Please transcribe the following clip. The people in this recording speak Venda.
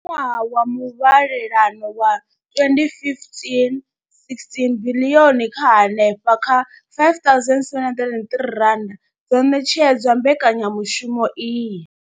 Kha ṅwaha wa muvhalelano wa 2015,16, biḽioni dza henefha kha R5 703 dzo ṋetshedzwa mbekanya mushumo iyi.